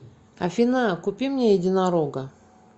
афина купи мне единорога